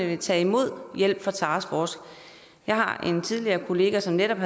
vil tage imod hjælp fra taskforcen jeg har en tidligere kollega som netop